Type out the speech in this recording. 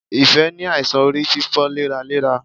Ìfẹ́ ní àìsàn orí fífọ léraléra.